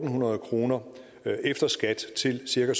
hundrede kroner efter skat til cirka